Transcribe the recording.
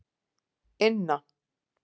Inna